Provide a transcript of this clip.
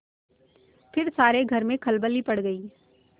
फिर सारे घर में खलबली पड़ गयी